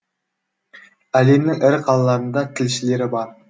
әлемнің ірі қалаларында тілшілері бар